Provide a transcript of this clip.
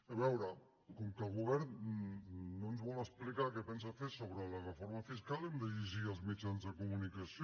a veure com que el govern no ens vol explicar què pensa fer sobre la reforma fiscal hem de llegir els mitjans de comunicació